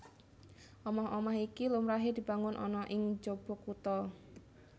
Omah omah iki lumrahé dibangun ana ing njaba kutha